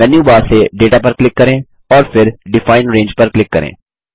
menu bar से data पर click करें और फिर डिफाइन रंगे पर क्लिक करें